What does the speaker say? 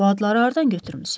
Bu adları hardan götürmüsüz?